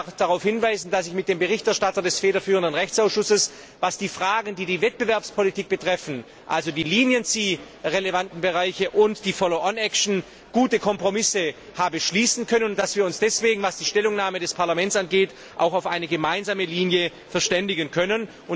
Ich darf darauf hinweisen, dass ich mit dem Berichterstatter des federführenden Rechtsausschusses, was die Fragen hinsichtlich der Wettbewerbspolitik also die für die Kronzeugenregelung relevanten Bereiche und die Folgeklage angeht, gute Kompromisse habe schließen können und dass wir uns deswegen, was die Stellungnahme des Parlaments angeht, auch auf eine gemeinsame Linie verständigen können.